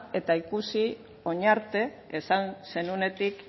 eta ikusi orain arte esan zenuenetik